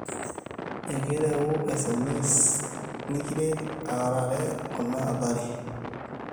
ekirewu sms nikiret aarare kuna athari